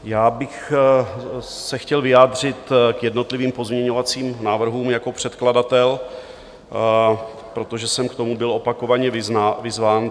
Já bych se chtěl vyjádřit k jednotlivým pozměňovacím návrhům jako předkladatel, protože jsem k tomu byl opakovaně vyzván.